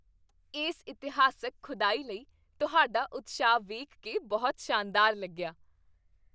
ਇਸ ਇਤਿਹਾਸਕ ਖੁਦਾਈ ਲਈ ਤੁਹਾਡਾ ਉਤਸ਼ਾਹ ਵੇਖ ਕੇ ਬਹੁਤ ਸ਼ਾਨਦਾਰ ਲੱਗਿਆ!